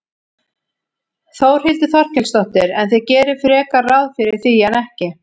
Þórhildur Þorkelsdóttir: En þið gerið frekar ráð fyrir því en ekki?